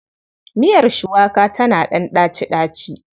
Miiyar shuwaka tana ɗan ɗaci.